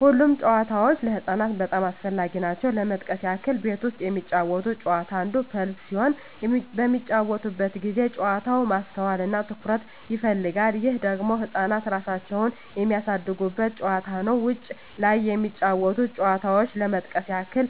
ሁሉም ጨዋታዎች ለህፃናት በጣም አስፈላጊ ናቸው ለመጥቀስ ያክል ቤት ውስጥ የሚጫወቱት ጨዋታ አንዱ ፐዝል ሲሆን በሚጫወቱበት ጊዜ ጨዋታው ማስተዋል እና ትኩረት ይፈልጋል ይህ ደግሞ ህፃናት እራሳቸውን የሚያሳድጉበት ጨዋታ ነው ውጭ ላይ ከሚጫወቱት ጨዋታዎች ለመጥቀስ ያክል